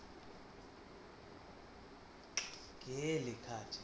কে লেখা আছে